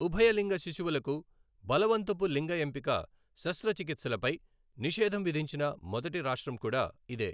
ఉభయలింగ శిశువులకు బలవంతపు లింగ ఎంపిక శస్త్రచికిత్సలపై నిషేధం విధించిన మొదటి రాష్ట్రం కూడా ఇదే.